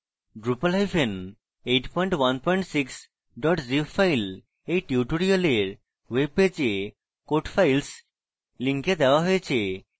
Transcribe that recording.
drupal816 zip file এই tutorial ওয়েবপেজে code files link দেওয়া হয়েছে